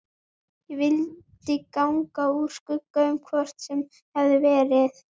Ég vildi ganga úr skugga um hvort svo hefði verið.